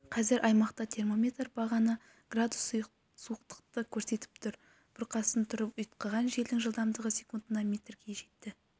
қазір аймақта термометр бағаны градус суықтықты көрсетіп тұр бұрқасын тұрып ұйытқыған желдің жылдамдығы секундына метрге жетті